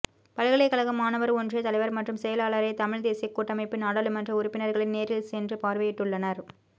பல்கலைகழக மாணவர் ஒன்றிய தலைவர் மற்றும் செயலாளரை தமிழ் தேசிய கூட்டமைப்பின் நாடளுமன்ற உறுப்பினர்கள் நேரில் சென்று பார்வையிட்டுள்ளனர்